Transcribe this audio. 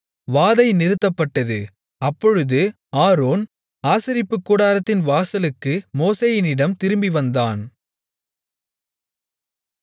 வாதை நிறுத்தப்பட்டது அப்பொழுது ஆரோன் ஆசரிப்புக்கூடாரத்தின் வாசலுக்கு மோசேயினிடம் திரும்பிவந்தான்